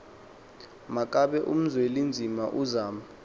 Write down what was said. makabe uzwelinzima uzama